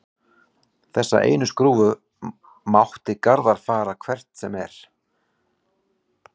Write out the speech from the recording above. Þessa einu skrúfu mátti Garðar færa hvert sem er.